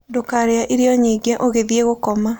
Ndukarie irio nyingi ugithie gukoma